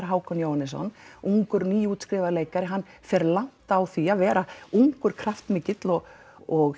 Hákon Jóhannesson ungur nýútskrifaður leikari hann fer langt á því að vera ungur kraftmikill og og